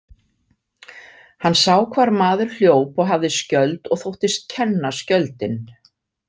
Hann sá hvar maður hljóp og hafði skjöld og þóttist kenna skjöldinn.